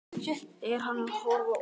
Er hann að horfa út?